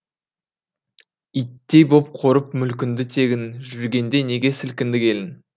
иттей боп қорып мүлкіңді тегін жүргенде неге сілкінді келін